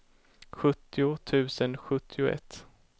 sjuttio tusen sjuttioett